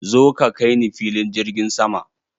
Zo ka kai ni filin jirgin sama!